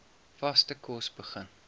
vaste kos begin